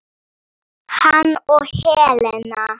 Hann og Helena.